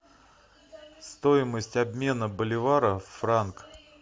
стоимость обмена боливара в франк